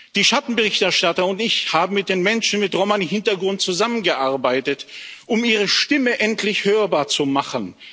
Die Schattenberichterstatter und ich haben mit den Menschen mit Romani Hintergrund zusammengearbeitet, um ihre Stimme endlich hörbar zu machen.